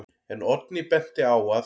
En Oddný benti á að: